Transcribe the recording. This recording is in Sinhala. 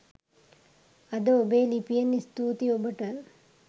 අද ඔබේ ලිපියෙන් ස්තූති ඔබට